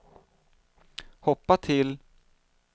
hoppa till